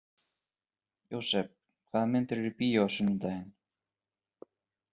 Jósep, hvaða myndir eru í bíó á sunnudaginn?